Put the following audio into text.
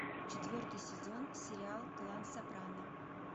четвертый сезон сериал клан сопрано